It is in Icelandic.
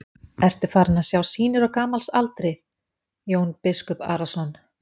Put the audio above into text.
Ertu farinn að sjá sýnir á gamals aldri, Jón biskup Arason?